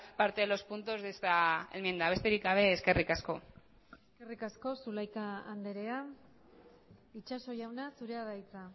parte de los puntos de esta enmienda besterik gabe eskerrik asko eskerrik asko zulaika andrea itxaso jauna zurea da hitza